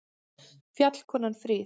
Fjallkonan fríð!